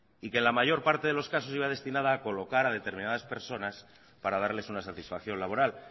y que en la mayor parte de los casos iba destinada a colocar a determinadas personas para darles una satisfacción laboral